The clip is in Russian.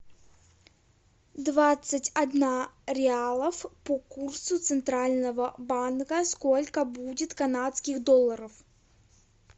двадцать одна реалов по курсу центрального банка сколько будет канадских долларов